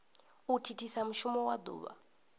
u thithisa mushumo wa duvha